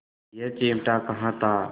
यह चिमटा कहाँ था